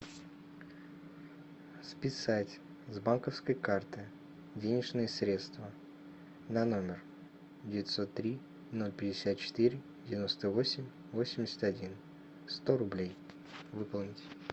списать с банковской карты денежные средства на номер девятьсот три ноль пятьдесят четыре девяносто восемь восемьдесят один сто рублей выполнить